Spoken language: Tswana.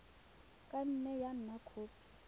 ka nne ya nna khopi